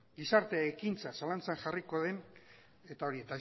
gizarte ekintza zalantzan jarriko den eta